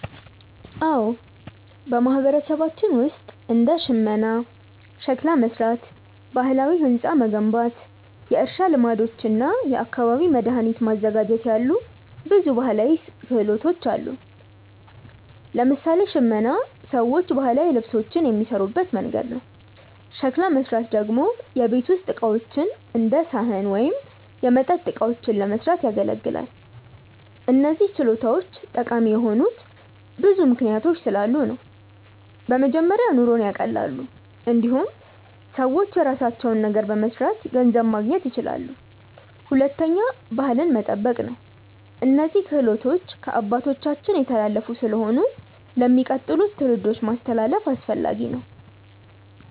አዎ፣ በማህበረሰባችን ውስጥ እንደ ሽመና፣ ሸክላ መሥራት፣ ባህላዊ ሕንፃ መገንባት፣ የእርሻ ልማዶች እና የአካባቢ መድኃኒት ማዘጋጀት ያሉ ብዙ ባህላዊ ክህሎቶች አሉ። ለምሳሌ ሽመና ሰዎች ባህላዊ ልብሶችን የሚሠሩበት መንገድ ነው። ሸክላ መሥራት ደግሞ የቤት ውስጥ ዕቃዎች እንደ ሳህን ወይም የመጠጥ እቃዎችን ለመስራት ያገለግላል። እነዚህ ችሎታዎች ጠቃሚ የሆኑት ብዙ ምክንያቶች ስላሉ ነው። በመጀመሪያ ኑሮን ያቀላሉ። እንዲሁም ሰዎች የራሳቸውን ነገር በመስራት ገንዘብ ማግኘት ይችላሉ። ሁለተኛ ባህልን መጠበቅ ነው፤ እነዚህ ክህሎቶች ከአባቶቻችን የተላለፉ ስለሆኑ ለሚቀጥሉት ትውልዶች ማስተላለፍ አስፈላጊ ነው።